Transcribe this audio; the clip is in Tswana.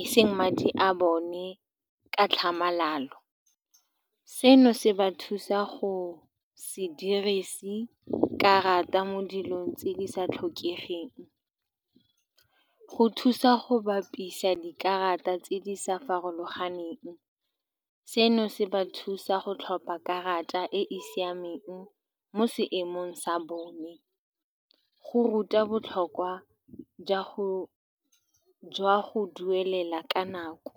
eseng madi a bone ka tlhamalalo. Seno se ba thusa go se dirise karata mo dilong tse di sa tlhokegeng. Go thusa go bapisa dikarata tse di sa farologaneng, seno se ba thusa go tlhopha karata e e siameng mo seemong sa bone. Go ruta botlhokwa jwa go, jwa go duelela ka nako.